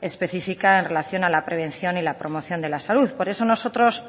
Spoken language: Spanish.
específica en relación a la prevención y la promoción de la salud por eso nosotros